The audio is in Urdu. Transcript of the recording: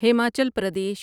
ہماچل پردیش